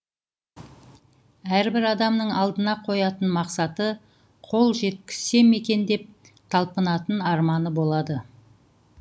әрбір адамның алдына қоятын мақсаты қол жеткізсем екен деп талпынатын арманы болады